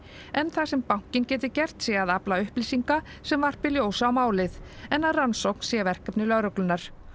það sem bankinn geti gert sé að afla upplýsinga sem varpi ljósi á málið en að rannsóknin sé verkefni lögreglunnar